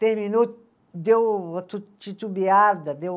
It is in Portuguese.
Terminou, deu uma tu titubeada, deu